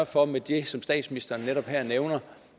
for med det som statsministeren netop her nævner